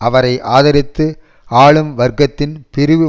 அவரை ஆதரித்த ஆளும் வர்க்கத்தின் பிரிவு